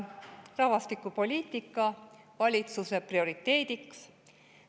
Rahvastikupoliitika tuleks tõsta valitsuse prioriteediks.